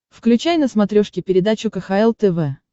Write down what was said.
включай на смотрешке передачу кхл тв